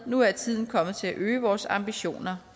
nu er tiden kommet til at øge vores ambitioner